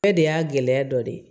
Bɛɛ de y'a gɛlɛya dɔ de ye